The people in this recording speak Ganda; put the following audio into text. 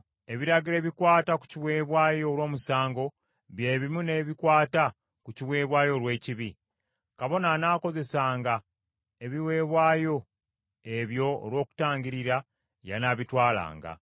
Ebiragiro ebikwata ku kiweebwayo olw’omusango bye bimu n’ebikwata ku kiweebwayo olw’ekibi. Kabona anaakozesanga ebiweebwayo ebyo olw’okutangiririra, y’anaabitwalanga.